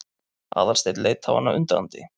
Aðalsteinn leit á hana undrandi.